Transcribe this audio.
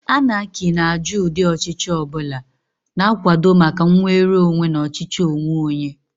Anarchy na-ajụ ụdị ọchịchị ọ bụla, na-akwado maka nnwere onwe na ọchịchị onwe onye.